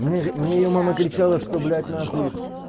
мне мне её мама кричала что блять нахуй